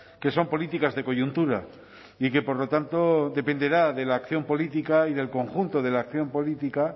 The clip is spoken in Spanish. que son políticas de coyuntura y que por lo tanto dependerá de la acción política y del conjunto de la acción política